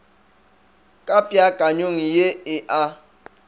ka peakanyong ye e a